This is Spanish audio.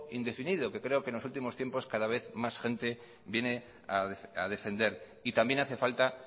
indefinido que creo que en los últimos tiempos cada vez más gente viene a defender y también hace falta